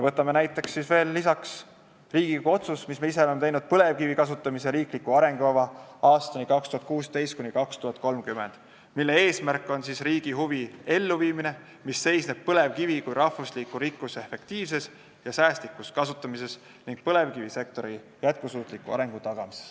Võtame veel lisaks Riigikogu otsuse, mille me ise oleme teinud, "Põlevkivi kasutamise riiklik arengukava 2016–2030", mille eesmärk on riigi huvi elluviimine, mis seisneb põlevkivi kui rahvusliku rikkuse efektiivses ja säästlikus kasutamises ning põlevkivisektori jätkusuutliku arengu tagamises.